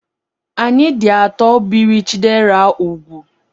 Anyị dị atọ biri Chidera úgwù.